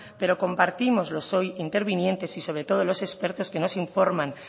pero compartimos los hoy intervinientes y sobre todos los expertos que nos informan